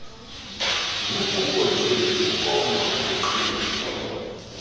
nokungondleki ukoma ukuqhinwa